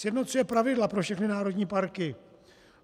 Sjednocuje pravidla pro všechny národní parky.